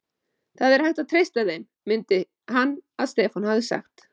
Það er hægt að treysta þeim, mundi hann að Stefán hafði sagt.